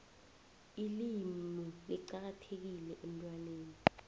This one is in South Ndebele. ilimu licakathekile emntwaneni